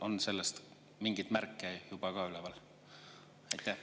On sellest juba mingeid märke?